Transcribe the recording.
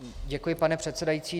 Děkuji, pane předsedající.